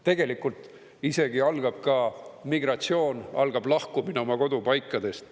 Tegelikult isegi algab ka migratsioon, algab lahkumine oma kodupaikadest.